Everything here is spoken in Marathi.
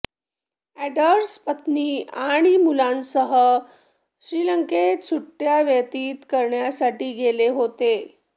अँडर्स पत्नी आणि मुलांसह श्रीलंकेत सुट्ट्या व्यतीत करण्यासाठी गेले होते